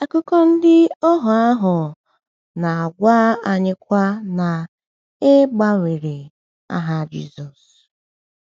Akụkọ ndị ohuo ahụ ahụ na-agwa anyịkwa na e um gbanwere aha Jisọshụ.